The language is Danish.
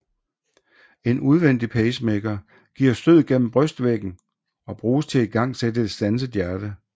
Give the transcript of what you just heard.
En udvendig pacemaker giver stød gennem brystvæggen og bruges til at igangsætte et standset hjerte